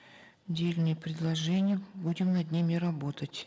дельные предложения будем над ними работать